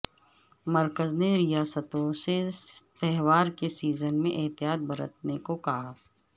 مرکز نے ریاستوں سے تہوار کے سیزن میں احتیاط برتنے کو کہا